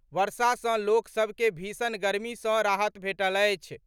वर्षा सॅ लोक सभ के भीषण गर्मी सॅ राहत भेटल अछि।